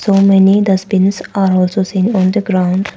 So many dustbins are also seen on the ground.